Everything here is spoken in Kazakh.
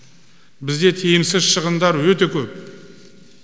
бізде тиімсіз шығындар өте көп